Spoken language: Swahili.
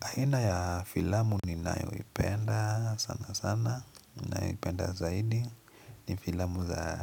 Aina ya filamu ninayoipenda sana sana naipenda zaidi ni filamu za